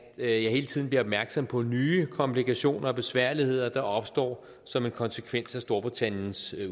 jeg hele tiden bliver opmærksom på nye komplikationer og besværligheder der opstår som en konsekvens af storbritanniens